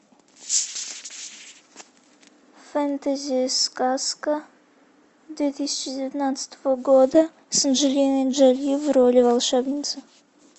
фэнтези сказка две тысячи девятнадцатого года с анджелиной джоли в роли волшебницы